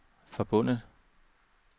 forbundet